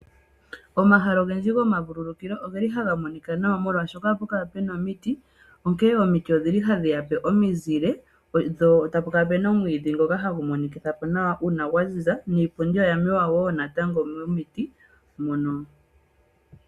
Omahala ogendji gomavulukilo ogeli haga monika nawa molwashoka ohapu kala puna omiti onkee omiti odhili hadhi yape omizile po tapu kala pena omwiidhi ngoka monikitha po nawa uuna pwa ziza niipundi wo oyamewa wo momiti.